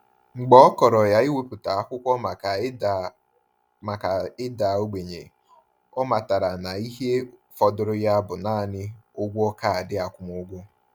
Mgbe ọ kọrọ iwepụta akwụkwọ maka ịda maka ịda ogbenye, ọ matara na ihe fọdụrụ ya bụ naanị ụgwọ kaadị akwụmụgwọ.